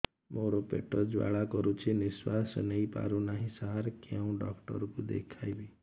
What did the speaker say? ମୋର ପେଟ ଜ୍ୱାଳା କରୁଛି ନିଶ୍ୱାସ ନେଇ ପାରୁନାହିଁ ସାର କେଉଁ ଡକ୍ଟର କୁ ଦେଖାଇବି